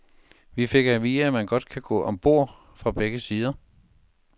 Vi fik at vide, at man kan gå om bord fra begge sider.